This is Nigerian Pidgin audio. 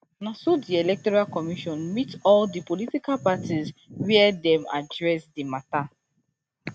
na so di electoral commission meet all di political parties wia dey address di mata